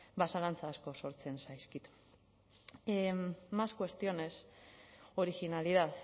ba zalantza asko sortzen zaizkit más cuestiones originalidad